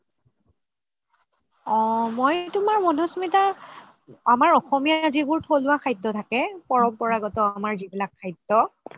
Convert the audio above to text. অহ মই তুমাৰ মাধুস্মিতা আমাৰ অসমীয়া যিবোৰ থলুৱা খাদ্য থাকে পৰম্পৰাগত আমাৰ যিবিলাক খাদ্য